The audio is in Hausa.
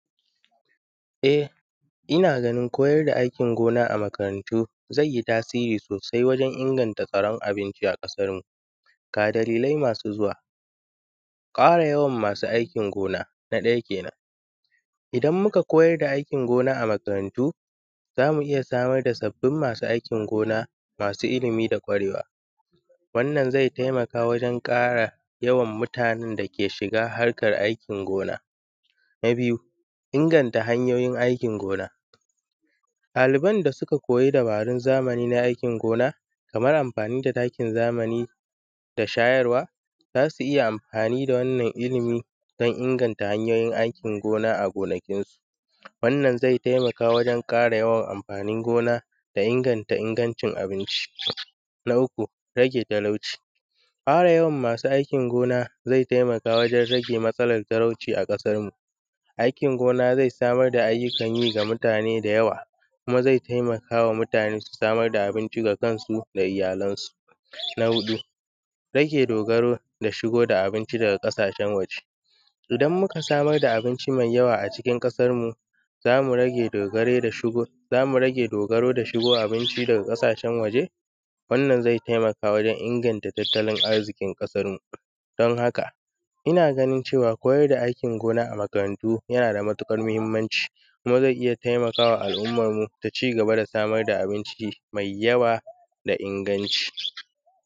E inna ganin koyarda aikin gona a makarantu zaiyi tasiri sosai wajen inganta tsaron abinci a ƙasarmu. Ga dililai masu zuwa. Ƙara yawan masu aikin gona na ɗaya kenan idan muka koyar da aikin gona a makarantu zamu iyya samar da sabbin masu aikin gona, masu illimi da kwarewa wannan zai taimaka wajen ƙara yawan mutanen dake shiga harkar aikin gona. Na biyu inganta hanyoyin aikin gona ɗaliban da suka koyi dabaru zamani na aikin gona kamar amfani da takin zamani da shayarwa zasu iyya amfani wannan illimin dan inganta hanyoyin aikin gona a gonakinsu, wannan zai taimaka wajen ƙara yawan amfanin gona da inganta ingancin abinci. Na uku raje talauci ƙara yawan masu aiki gona zai taimaka wajen rage matsalar talauci a ƙasarmu. Aikin gona zai samar da ayuukanyi ga mutane da yawa kuma zai taimakama mutane su samar da abinci ga kansu da iyyalansu. Rage dogaro da shigo da abinci daga ƙasashen waje idan muka samar da abinci mai yawa a cikin ƙasarmu, zamu rage dogaro da shigo da abinci daga ƙasashen waje, wannan zai taimaka wajen inaganta tattalin arziƙin ƙasarmu. Dan haka inna ganin cewa koyar da aikin gona a makarantunmu yanada matuƙar mahimmanci kuma zai iyya taimakawa al’ummanmu taci gaba da samar da abinci mai yawa mai inganci.